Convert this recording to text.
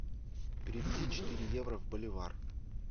переведи четыре евро в боливар